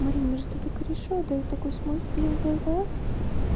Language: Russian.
марина мы же с тобой кореша да и такой смотрит мне в глаза